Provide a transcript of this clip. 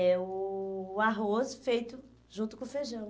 É o arroz feito junto com o feijão.